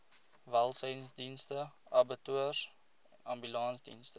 welsynsdienste abattoirs ambulansdienste